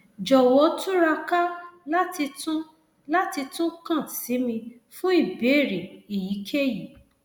jọwọ túraká láti tún láti tún kàn sí mi fún ìbéèrè èyíkéyìí